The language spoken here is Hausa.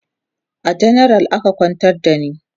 a janaral aka kwantar da ni